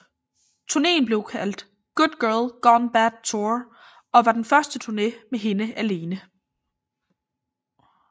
Turneen blev kaldt Good Girl Gone Bad Tour og var den første turné med hende alene